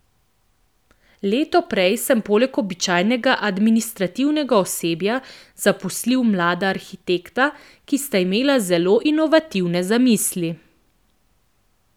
Leto prej sem poleg običajnega administrativnega osebja zaposlil mlada arhitekta, ki sta imela zelo inovativne zamisli.